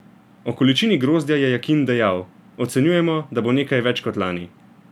O količini grozdja je Jakin dejal: "Ocenjujemo, da bo nekaj več kot lani.